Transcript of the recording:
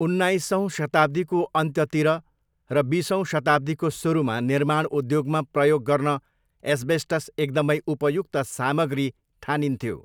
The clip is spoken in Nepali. उन्नाइसौँ शताब्दीको अन्त्यतिर र बिसौँ शताब्दीको सुरुमा निर्माण उद्योगमा प्रयोग गर्न एस्बेस्टस एकदमै उपयुक्त सामग्री ठानिन्थ्यो।